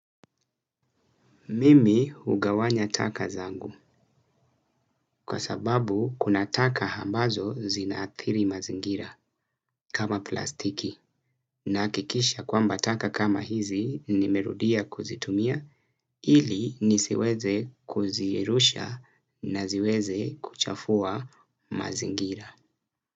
Mimi hugawanya taka zangu kwa sababu kuna taka ambazo zinaathiri mazingira kama plastiki nahakikisha kwamba taka kama hizi nimerudia kuzitumia ili nisiweze kuzirusha na ziweze kuchafua mazingira.